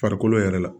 Farikolo yɛrɛ la